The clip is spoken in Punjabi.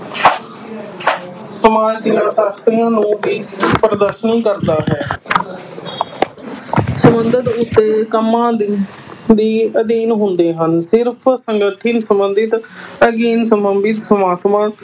ਸਮਾਜ ਸ਼ਾਸਤਰੀਆਂ ਨੂੰ ਵੀ ਪ੍ਰਦਰਸ਼ਨੀ ਕਰਦਾ ਹੈ ਸੰਬੰਧਿਤ ਕੰਮਾਂ ਦੇ ਦੇ ਅਧੀਨ ਹੁੰਦੇ ਹਨ, ਸਿਰਫ਼ ਸੰਗਠਿਤ ਸੰਬੰਧਿਤ ਅਧਿਐਨ ਸੰਬੰਧਿਤ